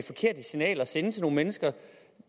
forkerte signal at sende til nogle mennesker